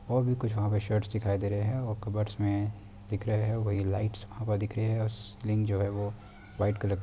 और भी कुछ वहाँ पे शर्ट्स दिखाई दे रहे हैं और कबर्डस मे दिख रहे हैं | वही लाइटस वहाँ पे दिख रहे है और स्प्रिंग जो है वो व्हाइट कलर का--